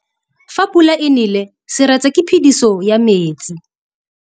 Fa pula e nelê serêtsê ke phêdisô ya metsi.